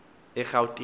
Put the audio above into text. erhawutini